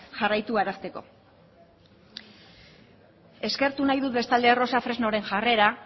jarraitu arazteko eskertu nahi dut bestalde rosa fresnoren jarrera